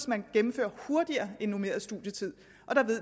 man gennemfører hurtigere end på normeret studietid og